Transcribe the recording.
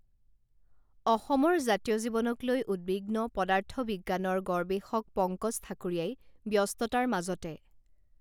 অসমৰ জাতীয় জীৱনক লৈ উদ্বিগ্ন পদাৰ্থবিজ্ঞানৰ গৰৱেষক পংকজ ঠাকুৰীয়াই ব্যস্ততাৰ মাজতে